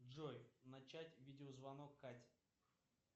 джой начать видеозвонок кате